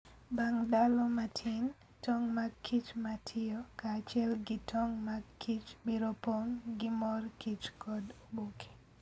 Bang' ndalo matin, tong' mag kich ma tiyo kaachiel gi tong' mag kich biro pong' gi mor kich kod oboke.